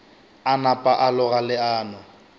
a napa a loga leano